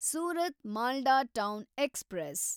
Surat Malda town express